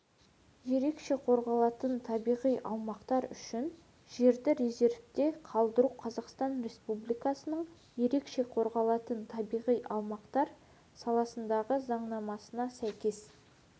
ерекше қорғалатын табиғи аумақтар үшін жерді резервте қалдыру қазақстан республикасының ерекше қорғалатын табиғи аумақтар саласындағы заңнамасына сәйкес